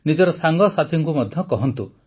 ନିଜର ସାଙ୍ଗସାଥୀଙ୍କୁ ମଧ୍ୟ କହନ୍ତୁ